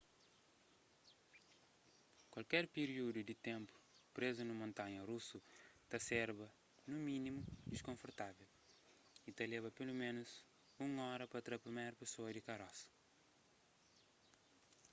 kualker piríudu di ténpu prézu nun montanha rusu ta serba nu mínimu diskonfortável y ta leba peloménus un óra pa tra priméru pesoa di karosa